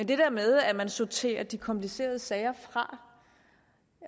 det der med at man sorterer de komplicerede sager fra